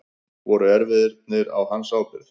Voru erfðirnar á hans ábyrgð?